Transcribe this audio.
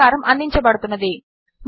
చేత సహకారము అందించబడుతున్నది